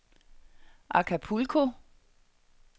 Acapulco